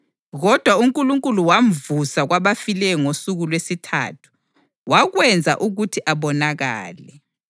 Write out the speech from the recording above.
kodwa uNkulunkulu wamvusa kwabafileyo ngosuku lwesithathu, wakwenza ukuthi abonakale.